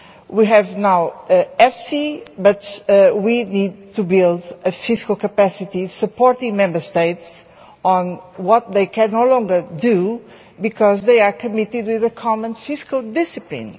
We now have EFSI, but we need to build a fiscal capacity supporting Member States in what they can no longer do, because they are committed to a common fiscal discipline.